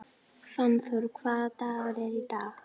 Fannþór, hvaða dagur er í dag?